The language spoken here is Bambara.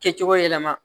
Kɛcogo yɛlɛma